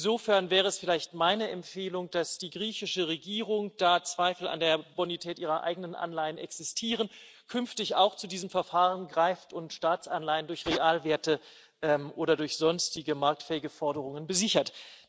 Insofern wäre es vielleicht meine Empfehlung, dass die griechische Regierung da Zweifel an der Bonität ihrer eigenen Anleihen existieren künftig auch zu diesem Verfahren greift und Staatsanleihen durch Realwerte oder durch sonstige marktfähige Forderungen besichert.